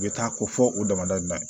U bɛ taa ko fɔ o damadala